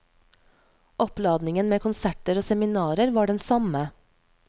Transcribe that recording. Oppladningen med konserter og seminarer var den samme.